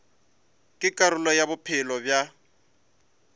ke karolo ya bophelo bja